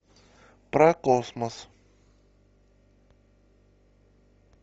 про космос